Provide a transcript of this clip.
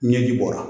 Ɲɛji bɔra